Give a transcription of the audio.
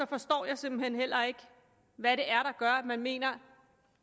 forstår jeg simpelt hen heller ikke hvad det er gør at man mener